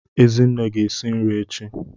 Ezinne ga-esi nri echi.